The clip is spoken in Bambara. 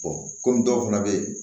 kɔmi dɔw fana be yen